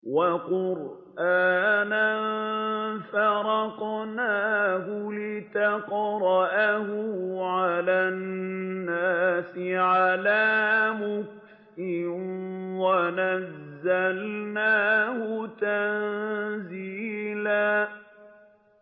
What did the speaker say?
وَقُرْآنًا فَرَقْنَاهُ لِتَقْرَأَهُ عَلَى النَّاسِ عَلَىٰ مُكْثٍ وَنَزَّلْنَاهُ تَنزِيلًا